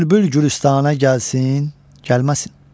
Bülbül gülüstanə gəlsin, gəlməsin.